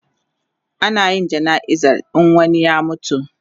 Ana yin jana'izar in wani ya mutu